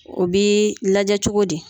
O bɛ lajɛ cogo di